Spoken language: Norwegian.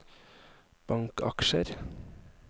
bankaksjer